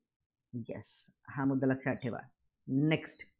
Yes हा मुद्दा लक्षात ठेवा. Next